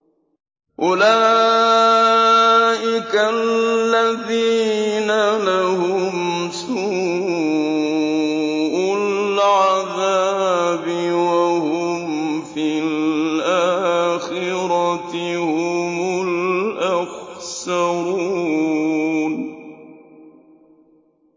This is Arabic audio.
أُولَٰئِكَ الَّذِينَ لَهُمْ سُوءُ الْعَذَابِ وَهُمْ فِي الْآخِرَةِ هُمُ الْأَخْسَرُونَ